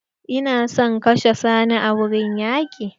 Ina son kashe Sani a wurin yaƙi!